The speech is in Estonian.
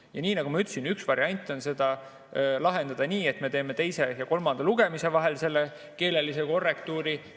Ja nii nagu ma ütlesin, üks variant on seda lahendada nii, et me teeme teise ja kolmanda lugemise vahel keelelise korrektuuri.